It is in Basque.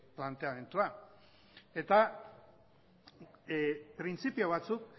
planteamendua eta printzipio batzuk